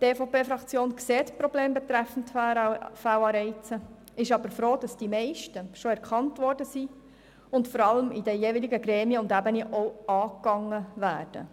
Die EVP-Fraktion sieht die Probleme betreffend Fehlanreize, ist aber froh, dass die meisten schon erkannt worden sind und vor allem in den jeweiligen Gremien und Ebenen auch angegangen werden.